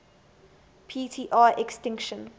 p tr extinction